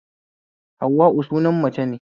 Hauwa'u sunan mace ne